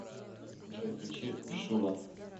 джой включи шула